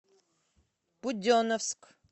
буденновск